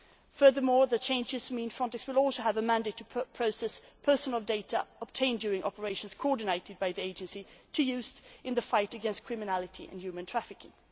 Furthermore, the changes mean FRONTEX will also have a mandate to process personal data obtained during operations coordinated by the Agency to use in the fight against crime and human trafficking.